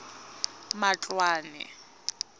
matloane